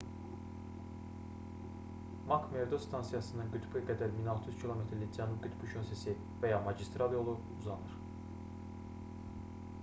mak-merdo stansiyasından qütbə qədər 1600 km-lik cənub qütbü şossesi və ya magistral yolu uzanır